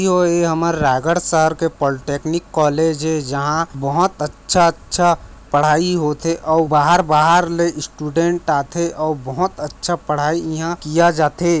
ई हमर रायगढ़ शहर के पॉलिटेक्निक कॉलेज ए जहाँ बहोत अच्छा-अच्छा पढाई होथे अउ बाहर-बाहर ले स्टूडेंट आथे अउ बहोत अच्छा पढाई यहाँँ किया जाथे।